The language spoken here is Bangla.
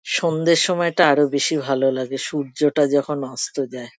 সন্ধ্যের সময়টা আরো বেশি ভালো লাগে। সূর্যটা যখন অস্ত যায়।